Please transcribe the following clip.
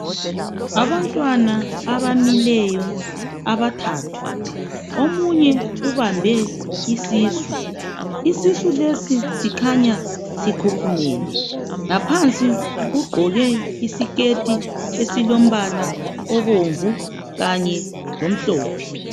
Abantwana abamileyo abathathu. Omunye ubambe isisu. Isisu lesi sikhanya sikhukhumele. Ngaphansi ugqoke isiketi esilombala obomvu khanye lomhlophe.